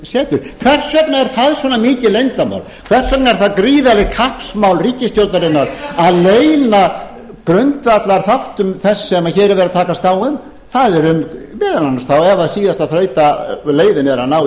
er það svona mikið leyndarmál hvers vegna er það gríðarlegt kappsmál ríkisstjórnarinnar að leyna grundvallarþáttum þess sem hér er verið að takast á um það er um meðal annars þá ef það er síðasta þrautaleiðin að ná í